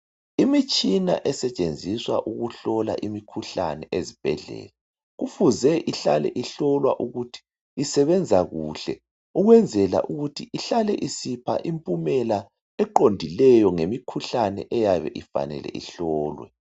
Imitshina esetshenziswa ukuhlola imikhuhlane ezibhedlela kufuze ihlale ihlolwa ukuthi isebenza kuhle ukwenzwela ukuthi ihlale isipha impumela eqondileyo ngemikhuhlane eyabe ifanele ihlolwe.